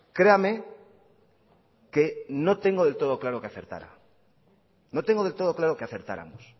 créame que no tengo del todo claro que acertara no tengo del todo claro que acertáramos